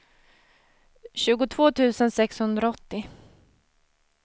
tjugotvå tusen sexhundraåttio